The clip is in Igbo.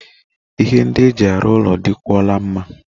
Ihe ndị e mji arụ ụlọ dị kwụọ la mma.